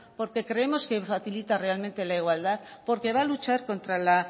porque creemos que facilita realmente la igualdad porque va a luchar contra la